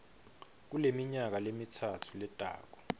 kuleminyaka lemitsatfu letako